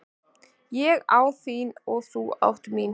Ég á þín og þú átt mín.